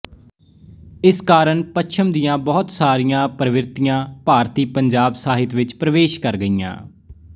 ਜਿਸ ਕਾਰਨ ਪੱਛਮ ਦੀਆਂ ਬਹੁਤ ਸਾਰੀਆਂ ਪ੍ਰਵਿਰਤੀਆਂ ਭਾਰਤੀਪੰਜਾਬ ਸਾਹਿਤ ਵਿੱਚ ਪ੍ਰੇਵਸ਼ ਕਰ ਗਈਆਂ